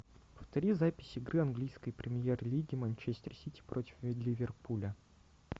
повтори запись игры английской премьер лиги манчестер сити против ливерпуля